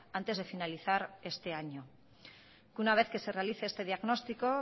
antes de finalizar este año una vez que se realice este diagnóstico